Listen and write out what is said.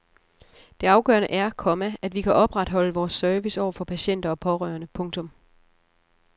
Det afgørende er, komma at vi kan opretholde vores service over for patienter og pårørende. punktum